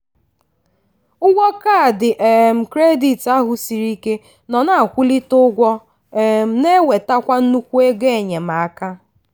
ụgwọ kaadị um kredit ahụ siri ike nọ na-akwulite ụgwọ um na-ewetekwa nnukwu ego enyemaka.